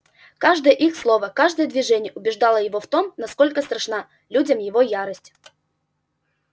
каждое их слово каждое движение убеждало его в том насколько страшна людям его ярость